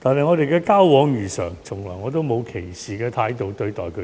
我們的交往如常，我從來沒有以歧視的態度對待他們。